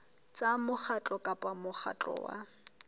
tsa mokgatlo kapa mokgatlo wa